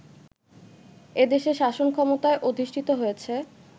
এদেশে শাসন ক্ষমতায় অধিষ্ঠিত হয়েছে